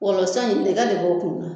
Wɔlɔ san in ne ka nɔgɔ o kun kan.